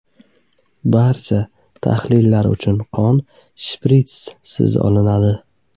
Barcha tahlillar uchun qon shpritssiz olinadi.